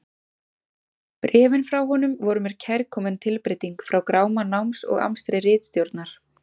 Bréfin frá honum voru mér kærkomin tilbreyting frá gráma náms og amstri ritstjórnar.